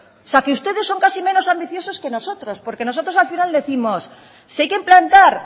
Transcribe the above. o sea que ustedes son casi menos ambiciosos que nosotros porque nosotros al final décimos que si hay que implantar